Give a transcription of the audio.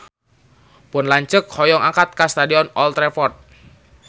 Pun lanceuk hoyong angkat ka Stadion Old Trafford